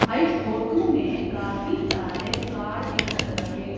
हां इस फोटू में काफी सारे कार दिखत रहे।